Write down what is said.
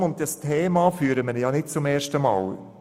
Die Diskussion um dieses Thema führen wir nicht zum ersten Mal.